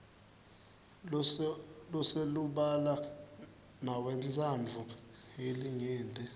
loselubala newentsandvo yelinyenti